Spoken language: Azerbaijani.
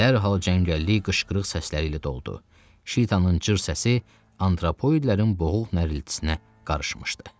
Dərhal cəngəllik qışqırıq səsləri ilə doldu, Şitanın cır səsi antropoidlərin boğuq nəriltisinə qarışmışdı.